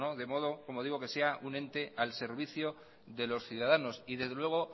de modo que sea un ente al servicio de los ciudadanos y desde luego